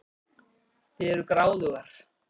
Þið eruð gráðugar.